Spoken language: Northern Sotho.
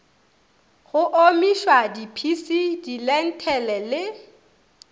go omišwa diphisi dilenthele le